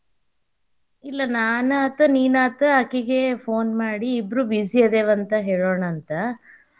ಇಲ್ಲಾ ನಾನ್ ಆತ್ ನೀನ್ ಆತ ಅಕಿಗೇ phone ಮಾಡಿ ಇಬ್ರೂ busy ಅದೇವಂತ ಹೇಳುಣಂತ.